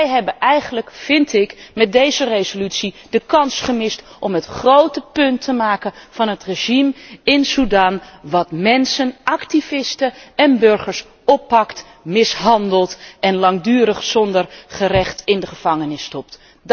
Wij hebben eigenlijk met deze resolutie de kans gemist om écht een punt te maken van het regime in Sudan, dat mensen, activisten en burgers oppakt, mishandelt en langdurig zonder gerecht in de gevangenis stopt.